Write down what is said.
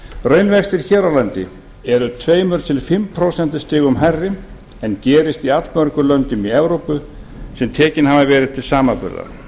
raunvextir hér á landi eru tvö til fimm prósent hærri en gerist í allmörgum löndum í evrópu sem tekin hafa verið til samanburðar